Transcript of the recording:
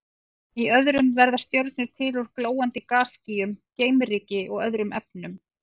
Í öðrum verða stjörnur til úr glóandi gasskýjum, geimryki og öðrum efnum.